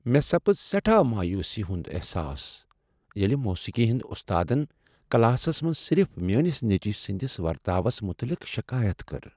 مےٚ سَپٕژ سیٹھا مایوسی ہنٛد احساس ییٚلہ موسیقی ہٕندۍ استادن کلاسس منز صرف میٲنس نیٚچوۍ سٕنٛدس ورتاوس متعلق شکایت کٔر۔